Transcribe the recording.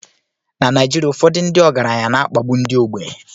Na Naijiria, ụfọdụ ndị ọgaranya na-akpagbu ndị ogbenye